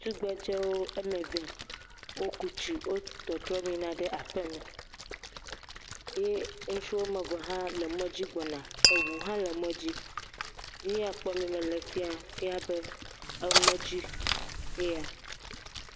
tugbedzewo ɔmeve wó kutsi wó tɔtrɔm yina ɖe aƒeme ye ŋutsu wɔmeve hã le mɔdzi gbɔna eʋu hã le mɔdzi ŋuya kpɔm mele fia efia be emɔdzi eya